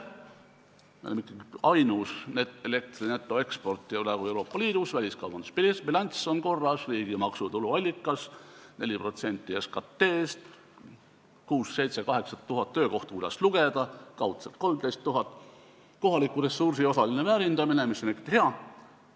Me oleme ikkagi ainus elektri netoeksportija Euroopa Liidus, väliskaubandusbilanss on korras, see on riigi maksu- ja tuluallikas, 4% SKT-st, 6000, 7000 või 8000 töökohta, oleneb, kuidas lugeda, kaudselt 13 000 töökohta, kohaliku ressursi osaline väärindamine, mis on ikkagi hea.